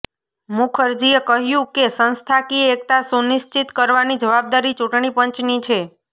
મુખરજીએ કહ્યું કે સંસ્થાકીય એકતા સુનિશ્ચિત કરવાની જવાબદારી ચૂંટણી પંચની છે